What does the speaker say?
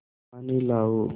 पानी लाओ